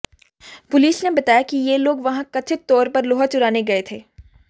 police ने बताया कि ये लोग वहां कथित तौर पर लोहा चुराने गए थे